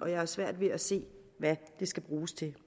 og jeg har svært ved at se hvad det skal bruges til